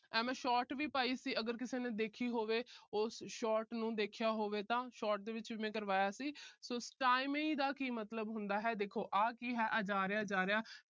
ਐ ਮੈਂ short ਵੀ ਪਾਈ ਸੀ । ਅਗਰ ਕਿਸੇ ਨੇ ਦੇਖੀ ਹੋਵੇ। ਉਸ short ਨੂੰ ਦੇਖਿਆ ਹੋਵੇ ਤਾਂ short ਦੇ ਵਿੱਚ ਮੈਂ ਕਰਵਾਇਆ ਸੀ। so stymie ਦਾ ਕੀ ਮਤਲਬ ਹੁੰਦਾ ਹੈ, ਦੇਖੋ ਆ ਜਾ ਰਿਹਾ ਜਾ ਰਿਹਾ।